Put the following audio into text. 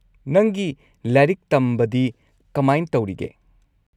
ꯅꯪꯒꯤ ꯂꯥꯏꯔꯤꯛ ꯇꯝꯕꯗꯤ ꯀꯃꯥꯢꯟ ꯇꯧꯔꯤꯒꯦ?